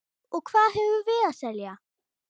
Og hvað höfum við að selja?